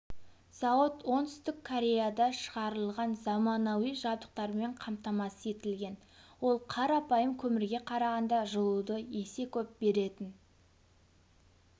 зауыт оңтүстік кореяда шығарылған заманауи жабдықтармен қамтамасыз етілген ол қарапайым көмірге қарағанда жылуды есе көп беретін